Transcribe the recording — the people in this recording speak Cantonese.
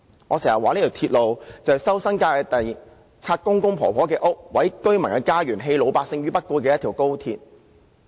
我常說，高鐵項目要收回新界的土地、拆毀長者的房屋、毀掉居民的家園，是一條棄老百姓於不顧的鐵路。